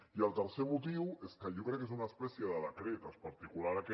i el tercer motiu és que jo crec que és una espècie de decret en particular aquest